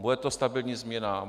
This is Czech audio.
Bude to stabilní změna?